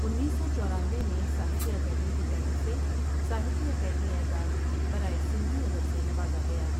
انیس سو چورانوے میں ساہتیہ اکیڈمی کی جانب سے ساہتیہ اکیڈمی اعزاز برائے سندھی ادب سے نوازا گیا ۔